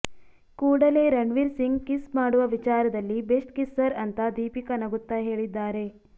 ಕೂಡಲೇ ರಣ್ವೀರ್ ಸಿಂಗ್ ಕಿಸ್ ಮಾಡುವ ವಿಚಾರದಲ್ಲಿ ಬೆಸ್ಟ್ ಕಿಸ್ಸರ್ ಅಂತಾ ದೀಪಿಕಾ ನಗುತ್ತಾ ಹೇಳಿದ್ದಾರೆ